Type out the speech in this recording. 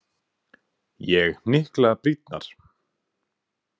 Ég hnykla brýnnar.